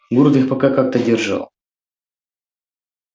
город их пока как-то держал